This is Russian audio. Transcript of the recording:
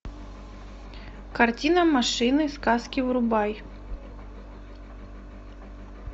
картина машины сказки врубай